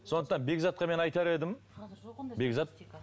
сондықтан бекзатқа мен айтар едім бекзат